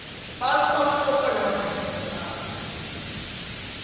bantfu bafuna kuba nemabhizinisi abo